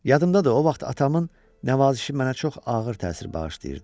Yadımdadır o vaxt atamın nəvazişi mənə çox ağır təsir bağışlayırdı.